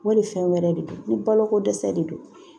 Wali fɛn wɛrɛ de do ni baloko dɛsɛ de don